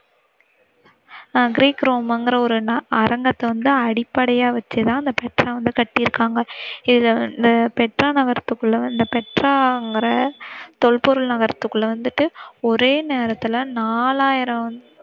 அஹ் Greek ரோம்ங்கிற ஒரு நாடு அரங்கத்தை வந்து அடிப்படையாக வச்சுத்தான் இந்த பெட்ரா வந்து கட்டிருக்காங்க. இத அஹ் பெட்ரா நகரத்துல பெட்ராங்கிற தொல்பொருள் நகரத்துக்குள்ள வந்திட்டு ஒரே நேரத்தில நாலாயிரம்